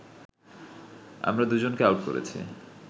আমরা দুজনকে আউট করেছি